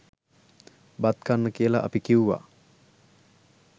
බත් කන්න කියල අපි කිව්වා.